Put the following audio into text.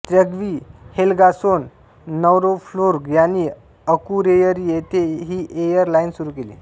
Tryggvi Helgason Nordurflug यांनी Akureyri येथे ही एअर लाइन सुरू केली